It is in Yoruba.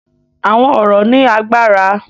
Àwọn ọ̀rọ̀ ní agbára.